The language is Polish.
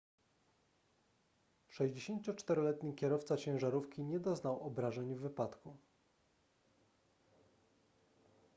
64-letni kierowca ciężarówki nie doznał obrażeń w wypadku